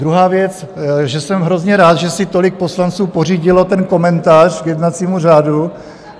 Druhá věc, že jsem hrozně rád, že si tolik poslanců pořídilo ten komentář k jednacímu řádu.